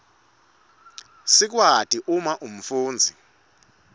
sikwati uma umfundzi